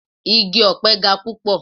Igi ọ̀pe ga púpọ̀.